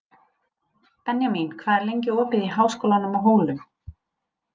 Benjamín, hvað er lengi opið í Háskólanum á Hólum?